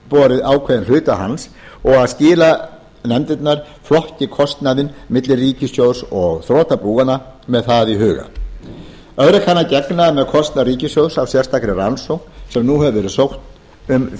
borið ákveðinn hluta hans og að skilanefndirnar flokki kostnaðinn milli ríkissjóðs og þrotabúanna með það í huga öðru kann að gegna með kostnað ríkissjóðs af sérstakri rannsókn sem nú hefur verið sótt um